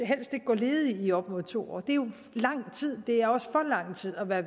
helst ikke gå ledige i op mod to år det er jo lang tid det er også for lang tid at være